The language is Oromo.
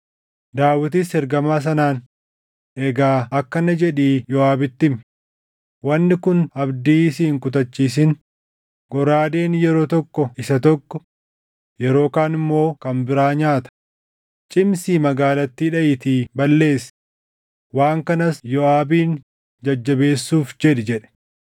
Daawitis ergamaa sanaan, “Egaa akkana jedhii Yooʼaabitti himi; ‘Wanni kun abdii si hin kutachiisin; goraadeen yeroo tokko isa tokko, yeroo kaan immoo kan biraa nyaata. Cimsii magaalattii dhaʼiitii balleessi.’ Waan kanas Yooʼaabin jajjabeessuuf jedhi” jedhe.